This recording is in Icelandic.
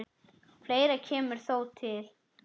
Fleira kemur þó til.